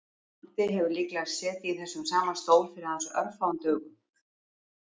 Matti hefur líklega setið í þessum sama stól fyrir aðeins örfáum dögum